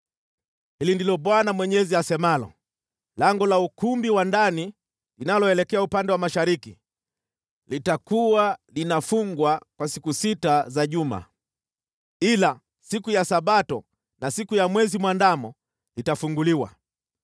“ ‘Hili ndilo Bwana Mwenyezi asemalo: Lango la ukumbi wa ndani linaloelekea upande wa mashariki litakuwa linafungwa kwa siku sita za juma, ila siku ya Sabato na siku ya Mwezi Mwandamo litafunguliwa.